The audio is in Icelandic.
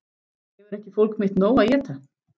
Hefur ekki fólk mitt nóg að éta?